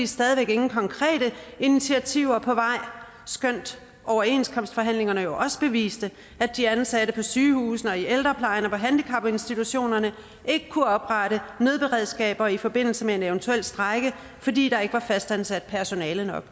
stadig væk ingen konkrete initiativer på vej skønt overenskomstforhandlingerne jo også beviste at de ansatte på sygehusene og i ældreplejen og på handicapinstitutionerne ikke kunne oprette nødberedskaber i forbindelse med en eventuel strejke fordi der ikke var fastansat personale nok